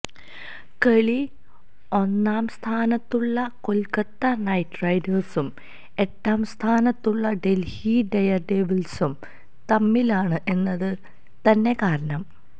കളി ഒന്നാം സ്ഥാനത്തുള്ള കൊൽക്കത്ത നൈറ്റ് റൈഡേഴ്സും എട്ടാം സ്ഥാനത്തുള്ള ഡെൽഹി ഡെയർഡെവിൾസും തമ്മിലാണ് എന്നത് തന്നെ കാരണം